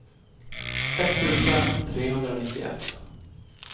etttusen trehundranittioett